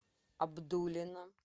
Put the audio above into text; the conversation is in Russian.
абдулино